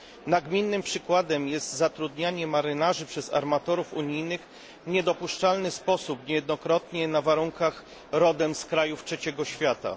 Nagminnym przykładem jest zatrudnianie marynarzy przez armatorów unijnych w niedopuszczalny sposób, niejednokrotnie na warunkach rodem z krajów Trzeciego Świata.